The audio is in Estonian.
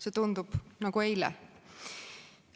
See tundub nagu eile.